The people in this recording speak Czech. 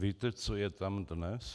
Víte, co je tam dnes?